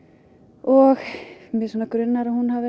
og mig grunar að hún hafi